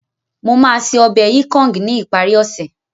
Mo máa ṣe ọbẹ̀ ikong ní ìparí ọ̀sẹ̀